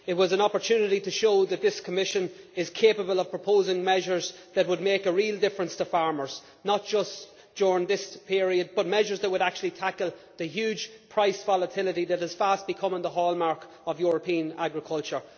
It was an opportunity to show that this Commission is capable of proposing measures that would make a real difference to farmers, not just during this period, but measures that would actually tackle the huge price volatility that is fast becoming the hallmark of European agriculture.